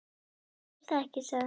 Ég veit það ekki, sagði hann.